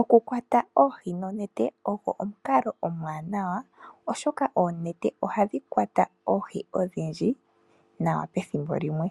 Okukwata oohi nonete ogwo omukalo omwaanawa oshoka oonete ohadhi kwata oohi odhindji nawa pethimbo limwe,